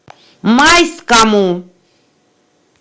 майскому